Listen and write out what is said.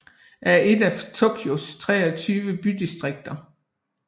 er et af Tokyos 23 bydistrikter